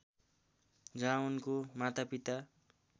जहाँ उनको मातापिता